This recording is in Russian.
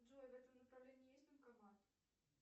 джой в этом направлении есть банкомат